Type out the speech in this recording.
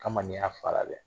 a ma n'i y'a fara dɛ